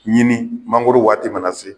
Ɲini mangoro waati mana se